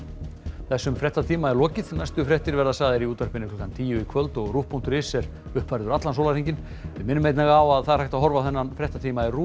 þessum fréttatíma er lokið næstu fréttir verða sagðar í útvarpi klukkan tíu í kvöld og RÚV punktur is er uppfærður allan sólarhringinn við minnum einnig á að það er hægt að horfa á þennan fréttatíma í RÚV